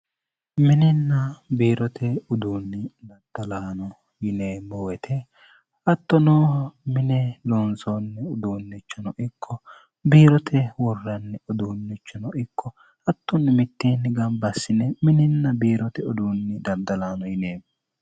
mininna biirote uduunni daddalaano yine moete hatto nooho mine loonsoonni uduunnichano ikko biirote worranni uduunnichino ikko hattunni mittienni gambaassine mininna biirote uduunni daddalaano yine